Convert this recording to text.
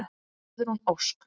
Guðrún Ósk.